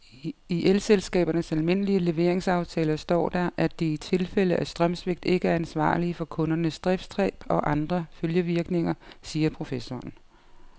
I elselskabernes almindelige leveringsaftaler står der, at de i tilfælde af strømsvigt ikke er ansvarlig for kundernes driftstab og andre følgevirkninger, siger professoren.